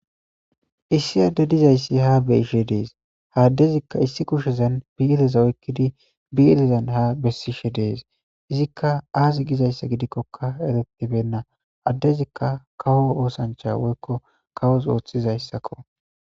Issi adde dizayssi ha beishe dees haaddezikka issi kushezan biiteza oykkidi biitezan ha bessishe dees izikka aazi gizayssa gidikkokka eretibenna addezikka kawo oosancha woykko kawos ooththizayssakko.